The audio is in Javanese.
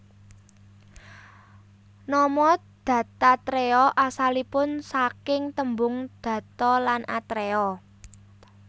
Nama Dattatreya asalipun saking tembung datta lan atreya